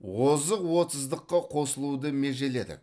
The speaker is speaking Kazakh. озық отыздыққа қосылуды межеледік